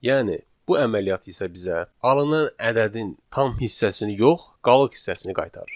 Yəni, bu əməliyyat isə bizə alınan ədədin tam hissəsini yox, qalıq hissəsini qaytarır.